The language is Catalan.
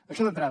això d’entrada